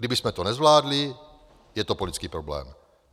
Kdybychom to nezvládli, je to politický problém.